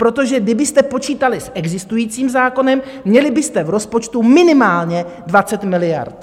Protože kdybyste počítali s existujícím zákonem, měli byste v rozpočtu minimálně 20 miliard.